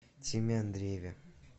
тиме андрееве